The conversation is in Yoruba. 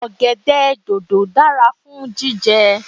Ọ̀gẹ̀dẹ̀ dòdò dára fún jíjẹ